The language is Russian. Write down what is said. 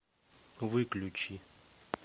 выключи